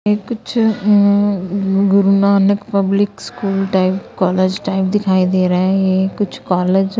ये कुछ उम्म Guru Nanak public school type college type दिखाई दे रहा है कुछ कॉलेज --